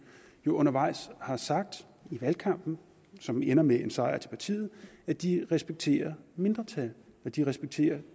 jo undervejs har sagt i valgkampen som ender med en sejr til partiet at de respekterer mindretal at de respekterer